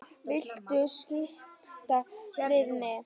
Viltu skipta við mig?